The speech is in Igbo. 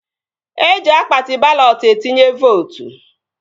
Eji akpati balọt etinye vootu